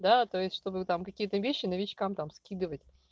да то есть чтобы там какие-то вещи новичкам там скидывать